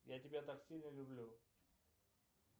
я тебя так сильно люблю